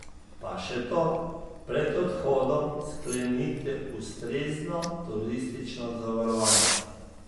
Pa še to, pred odhodom sklenite ustrezno turistično zavarovanje.